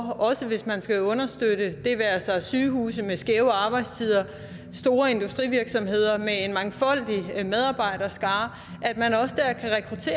hvis man skal understøtte det det være sig sygehuse med skæve arbejdstider store industrivirksomheder med en mangfoldig medarbejderskare